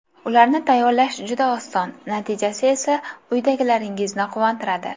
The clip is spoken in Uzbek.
Ularni tayyorlash juda oson, natijasi esa uydagilaringizni quvontiradi.